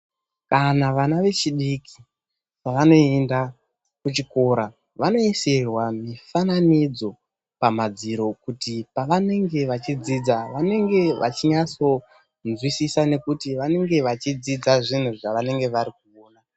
Kana vana vechidiki pavanoenda kuchikora, vanoisirwa mifananidzo pamadziro nekuti pavanenge vachidzidza, vanenge vachinyatsonzwisisa, nokuti vanenge vachidzidza zvinhu zvavanenge vari kuona.